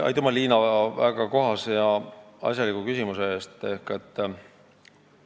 Aitüma, Liina, väga kohase ja asjaliku küsimuse eest!